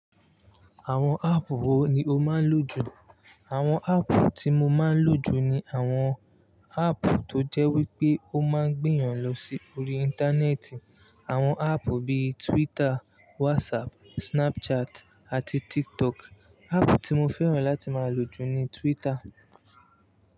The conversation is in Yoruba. Àwọn áàpù wo ni o máa ń lò jù? Àwọn áàpù tí mo máa ń lò jù ni àwọn áàpù tó jẹ́ wípé ó máa ń gbéyàn lọ sí orí Íńtánẹ́ẹ̀tì. Àwọn áàpù bíi Twitter, WhatsApp, Snapchat, àti TikTok. Áàpù tí mo fẹ́ràn láti máa lò jù ni Twitter.